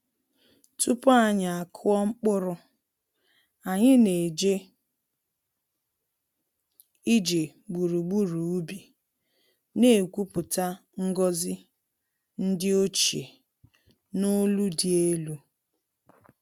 Tupu anyị akụọ mkpụrụ, anyị na-eje ije gburugburu ubi, na-ekwupụta ngọzi ndi ochie n’olu dị elu.